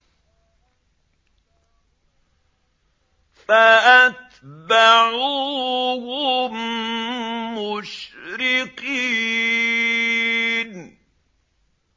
فَأَتْبَعُوهُم مُّشْرِقِينَ